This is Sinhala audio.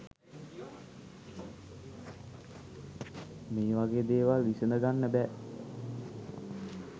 මේ වගේ දේවල් විසඳගන්න බෑ.